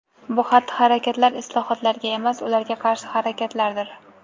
Bu xatti-harakatlar islohotlarga emas, ularga qarshi harakatlardir.